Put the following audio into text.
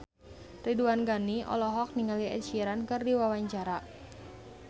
Ridwan Ghani olohok ningali Ed Sheeran keur diwawancara